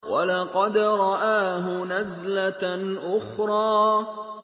وَلَقَدْ رَآهُ نَزْلَةً أُخْرَىٰ